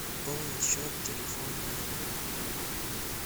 пополнить счет телефона друга